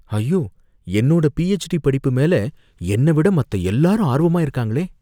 ஐயோ! என்னோட பிஹெச்டி படிப்பு மேல என்னை விட மத்த எல்லாரும் ஆர்வமா இருக்காங்களே!